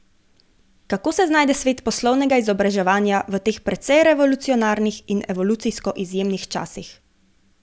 Kako se znajde svet poslovnega izobraževanja v teh precej revolucionarnih in evolucijsko izjemnih časih?